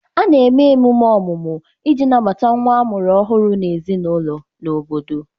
A na-eme emume ọmụmụ iji nabata nwa a mụrụ ọhụrụ n'ezinaụlọ na obodo